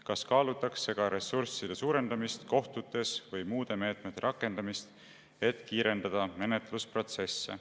Kas kaalutakse ka ressursside suurendamist kohtutes või muude meetmete rakendamist, et kiirendada menetlusprotsesse?